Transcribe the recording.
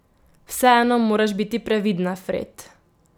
Vseeno moraš biti previdna, Fred.